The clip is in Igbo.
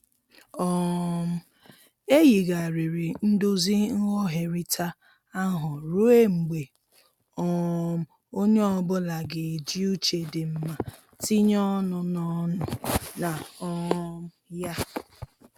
um E yigharịrị ndozi nghọherita ahụ ruọ mgbe um onye ọbụla ga-eji uche dị mma tinye ọnụ na ọnụ na um ya.